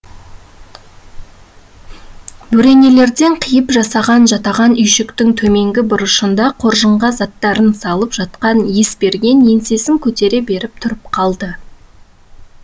бөренелерден қиып жасаған жатаған үйшіктің төменгі бұрышында қоржынға заттарын салып жатқан есберген еңсесін көтере беріп тұрып қалды